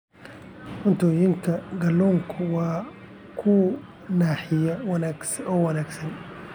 Cuntooyinka kalluunku waa kuwo naaxiya oo wanaagsan.